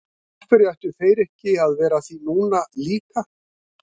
Af hverju ættu þeir ekki að vera að því núna líka?